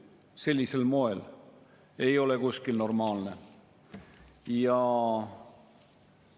Ma tegin väga rõõmsalt kaasa siin mõni nädal tagasi istungi, mis algas reedel kell 15 ning kestis laupäeval kella 21-ni.